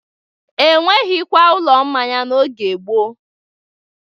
E nweghikwa ụlọ mmanya n'oge gboo.